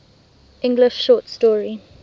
english short story